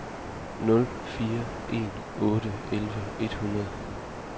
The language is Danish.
nul fire en otte elleve et hundrede